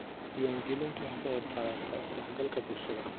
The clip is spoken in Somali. Diiwaangelintu waxay ka qaybqaadataa is-dhexgalka bulshada.